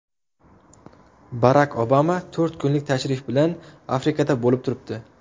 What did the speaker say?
Barak Obama to‘rt kunlik tashrif bilan Afrikada bo‘lib turibdi.